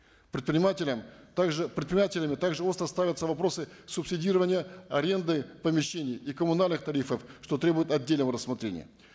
предпринимателям также предпринимателями также остро ставятся вопросы субсидирования аренды помещений и коммунальных тарифов что требует отдельного рассмотрения